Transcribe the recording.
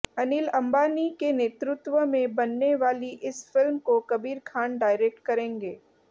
अनिल अंबानी के नेतृत्व में बनने वाली इस फिल्म को कबीर खान डायरेक्ट करेंगे